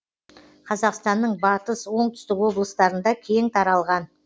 қазақстанның батыс оңтүстік облыстарында кең таралған